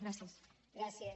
gràcies